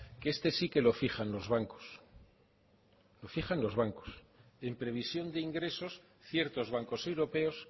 que este sí que lo fijan los bancos lo fijan los bancos en provisión de ingresos ciertos bancos europeos